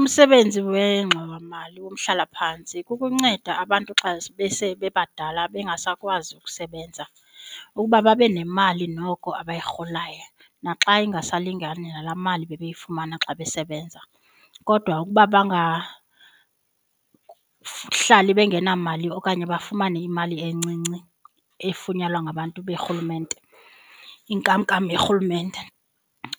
Umsebenzi wengxowamali yomhlalaphantsi kukunceda abantu xa besebebadala bengasakwazi ukusebenza ukuba babe nemali noko abayirholayo naxa ingasalingani nala mali bebeyifumana xa besebenza. Kodwa ukuba bangahlali bengenamali okanye bafumane imali encinci efunyanwa ngabantu berhulumente inkamnkam yorhulumente.